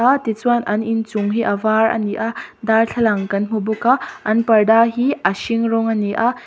tichuan an inchung hi a var a ni a darthlalang kan hmu bawk a an parda hi a hring rawng a ni a--